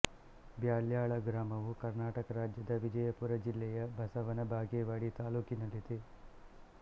ಬ್ಯಾಲ್ಯಾಳ ಗ್ರಾಮವು ಕರ್ನಾಟಕ ರಾಜ್ಯದ ವಿಜಯಪುರ ಜಿಲ್ಲೆಯ ಬಸವನ ಬಾಗೇವಾಡಿ ತಾಲ್ಲೂಕಿನಲ್ಲಿದೆ